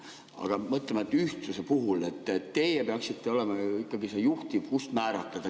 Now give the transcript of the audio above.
Aga mõtleme ühtsuse peale, teie peaksite olema ikkagi see juhtiv, kes määratleb.